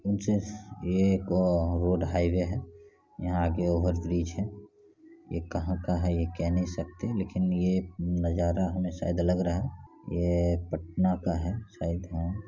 जिस ये road highway है यहां ऊपर ब्रिज है ये कहां का है ये कह नहीं सकते लेकिन ये नजारा हमे शायद लग रहा है ये पटना का है शायद हैं।